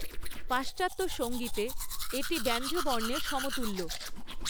পাশ্চাত্য সঙ্গীতে এটি ব্যঞ্জনবর্ণের সমতুল্য।